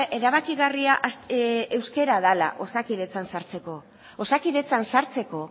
erabakigarria euskara dela osakidetzan sartzeko osakidetzan sartzeko